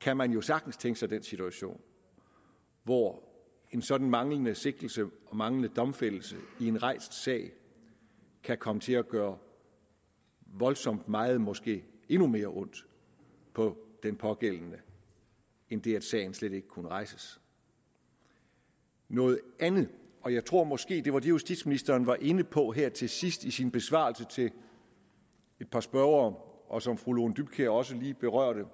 kan man jo sagtens tænke sig den situation hvor en sådan manglende sigtelse og manglende domfældelse i en rejst sag kan komme til at gøre voldsomt meget måske endnu mere ondt på den pågældende end det at sagen slet ikke kunne rejses noget andet og jeg tror måske at det var det justitsministeren var inde på her til sidst i sin besvarelse til et par spørgere og som fru lone dybkjær også berørte